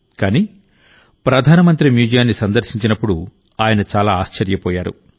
కానీప్రధానమంత్రి మ్యూజియాన్ని సందర్శించినప్పుడు ఆయన చాలా ఆశ్చర్యపోయారు